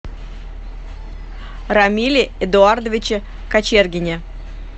рамиле эдуардовиче кочергине